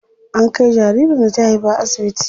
An kai jaririn da ta haifa asibiti.